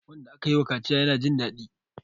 wanda aka yiwa kaciya yana Jin dadi